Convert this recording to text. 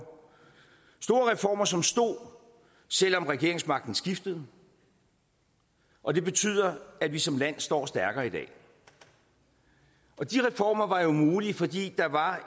store reformer som stod selv om regeringsmagten skiftede og det betyder at vi som land står stærkere i dag de reformer var jo mulige fordi der var